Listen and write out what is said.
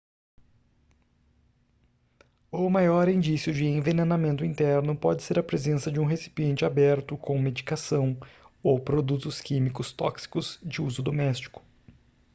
o maior indício de envenenamento interno pode ser a presença de um recipiente aberto com medicação ou produtos químicos tóxicos de uso doméstico